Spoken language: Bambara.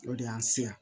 O de y'an se yan